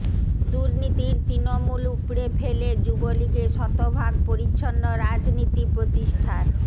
দুর্নীতির তৃণমূল উপড়ে ফেলে যুবলীগে শতভাগ পরিচ্ছন্ন রাজনীতি প্রতিষ্ঠার